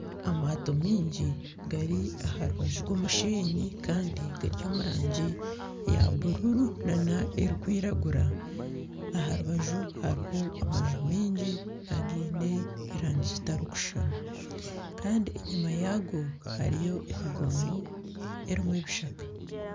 Amaato mingi gari aha rubaju rw'omushenyi kandi gari omu rangi ya buruuru na n'erikwiragura aha rubaju hariho amanju mingi agiine erangi zitarikushushana kandi enyuma yaago hariyo emigongo erimu ebishaka.